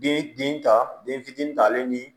Den den ta den fitinin ta ale ni